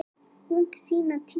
Ung sýna tísku